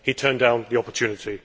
He turned down the opportunity.